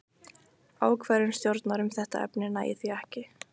Ákvörðun stjórnar um þetta efni nægir því ekki.